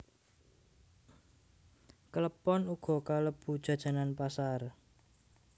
Klepon uga kalebu jajanan pasar